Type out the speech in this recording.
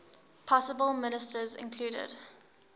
possible ministers included